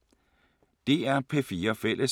DR P4 Fælles